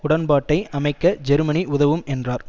உடன்பாட்டை அமைக்க ஜெர்மனி உதவும் என்றார்